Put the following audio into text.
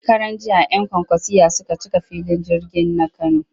Shekaranjiya 'yan kwankwasiyya suka cika filin jirgin na Kano